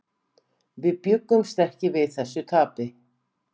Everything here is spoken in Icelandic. Við bjuggumst ekki við þessu tapi.